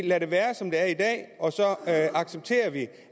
lader det være som det er i dag og så accepterer vi